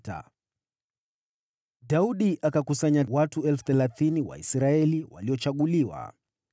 Tena Daudi akakusanya watu 30,000 wa Israeli waliochaguliwa.